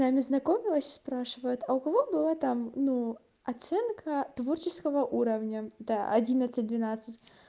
нами знакомилась и спрашивает а у кого была там ну оценка творческого уровня да одиннадцать двенадцать